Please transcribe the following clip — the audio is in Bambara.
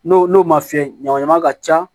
N'o n'o ma fiyɛ ɲagama ka ca